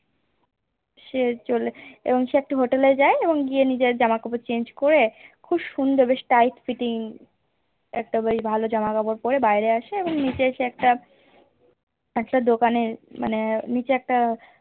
সে চলে সে একটা Hotel এ যায় এবং গিয়ে নিজের জামা কাপড় Change করে খুব সুন্দর বেশ Tight fitting একটা বেশ ভালো জামা কাপড় পরে বাইরে আসে এবং সে এসে একটা একটা দোকানে মানে নিচে একট